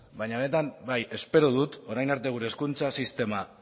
baina benetan bai espero dut orain arte gure hezkuntza sisteman